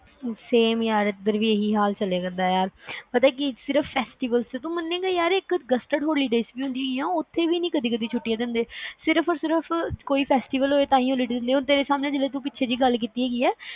same ਯਾਰ ਏਧਰ ਵੀ ਹੀ ਹਾਲ ਚਲੇ ਕਰਦਾ ਆ ਯਾਰ, ਪਤਾ ਕੀ ਤੂੰ ਮੰਨੇ ਗਾ ਇਕ ਸਿਰਫ gazetted holidays ਹੁੰਦੀ ਹੈ, ਉਥੇ ਵੀ ਨੀ ਕਦੇ ਕਦੇ ਛੁਟੀ ਦਿੰਦੇ ਸਿਰਫ ਕੋਈ festival ਹੋਵੇ ਤਾਹਿ holiday ਦਿੰਦੇ ਆ ਤੇਰੇ ਸਾਮਣੇ ਜਿਵੇ ਤੂੰ ਪਿੱਛੇ ਜ ਗੱਲ ਕੀਤੀ ਹੈਗੀ ਆ